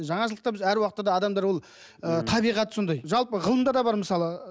жаңашылдықта әр уақытта адамдар ол ы табиғаты сондай жалпы ғылымда да бар мысалы